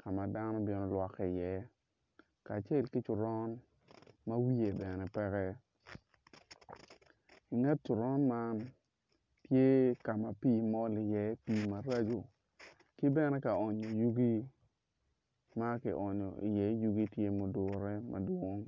ka madano bino lwokke iye kacel ki coron ma wiye bene peke nget coron man tye ka ma pii mol iye pii maraco ki bene kaonyo yugi ma kionyo iye yugi tye ma odure madwong.